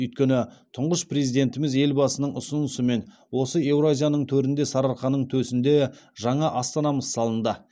өйткені тұңғыш президентіміз елбасының ұсынысымен осы еуразияның төрінде сарыарқаның төсінде жаңа астанамыз салынды